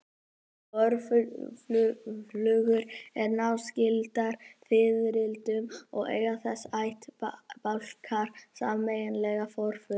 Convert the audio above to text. Vorflugur eru náskyldar fiðrildum og eiga þessir ættbálkar sameiginlegan forföður.